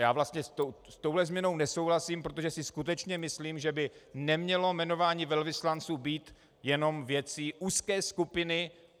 Já vlastně s touto změnou nesouhlasím, protože si skutečně myslím, že by nemělo jmenování velvyslanců být jenom věcí úzké skupiny.